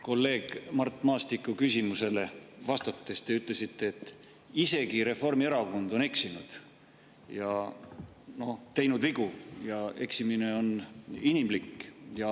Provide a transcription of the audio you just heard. Kolleeg Mart Maastiku küsimusele vastates te ütlesite, et isegi Reformierakond on eksinud ja teinud vigu, eksimine on inimlik.